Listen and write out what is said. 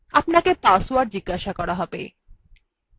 আপানকে password জিজ্ঞাসা করা হবে